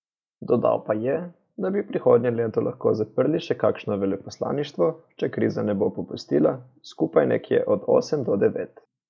Dodal pa je, da bi prihodnje leto lahko zaprli še kakšno veleposlaništvo, če kriza ne bo popustila, skupaj nekje od osem do devet.